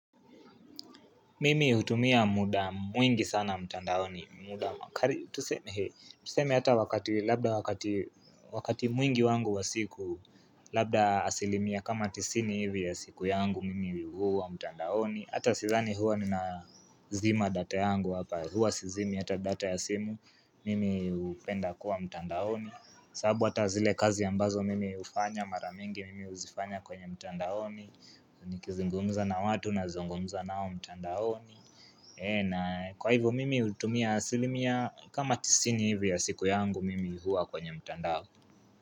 Mimi hutumia muda mwingi sana mtandaoni muda kali tuseme hivi Tuseme hata wakati labda wakati wakati mwingi wangu wa siku Labda asilimia kama tisini hivi ya siku yangu mimi huwa mtandaoni Hata sidhani huwa ninazima data yangu hapa Hua sizimi hata data ya simu Mimi hupenda kuwa mtandaoni sababu hata zile kazi ambazo mimi hufanya mara mingi Mimi huzifanya kwenye mtandaoni nikizungumza na watu nazungumza nao mtandaoni na Kwa hivyo mimi hutumia asilimia kama tisini hivyo ya siku yangu mimi huwa kwenye mtandao.